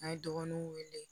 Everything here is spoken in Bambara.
An ye dɔgɔnunw wele